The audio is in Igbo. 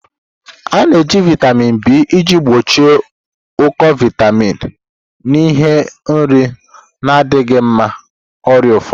A na-eji vitamin B iji gbochie ụkọ vitamin n'ihi nri na-adịghị mma, ọrịa ụfọdụ.